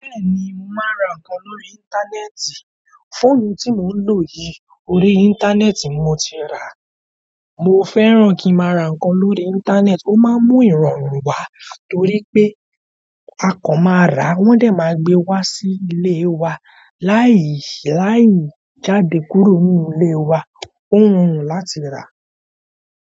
Bẹ́ẹ̀ni, màá ra nǹkan lórí íńtánẹ́ẹ̀tì. Fóònù ti mo ń ló yí orí intanẹti ni mó ti rá. Mo fẹ́ràn kí mo ra nǹkan lórí íńtánẹ́ẹ̀tì, ó máa ń mú ìrọ̀rùn wá torí pé akàn máa rà wón lè máa gbe wá sí ilé wa láìsí láì jáde kúrò nínú ilé wa. Ó rọrùn láti rà.